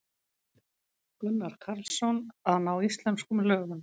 Gunnar Karlsson: Að ná íslenskum lögum.